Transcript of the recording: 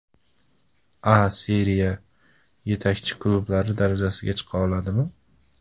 A Seriya yetakchi klublari darajasiga chiqa oladimi?